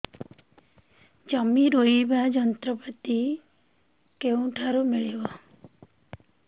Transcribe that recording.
ଜମି ରୋଇବା ଯନ୍ତ୍ରପାତି କେଉଁଠାରୁ ମିଳିବ